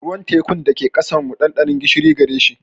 Ruwan tekun da ke ƙasar mu, ɗanɗanon gishiri gare shi.